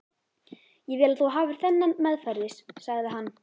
Ég vil að þú hafir þennan meðferðis, sagði hann.